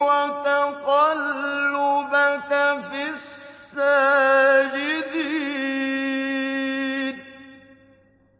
وَتَقَلُّبَكَ فِي السَّاجِدِينَ